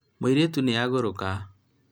mũirĩtu nĩ agũrũka